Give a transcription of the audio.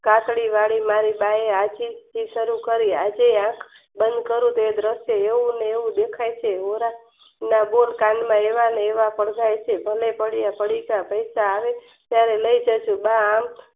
કાકડી વળી બાએ આજથી જ સારું કરી તે આંખ બન કરી તેજ રસ્તે દેખાય છે નાબૂદ કાન સમજાય છે અને પડીકા પૈસા ત્યારે લય જશે બા આમ